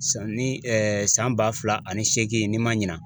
San ni san ba fila ani seegin n'i ma ɲina.